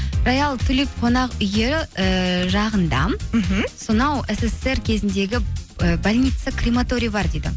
қонақ үйі ііі жағында мхм сонау ссср кезіндегі і больница крематориі бар дейді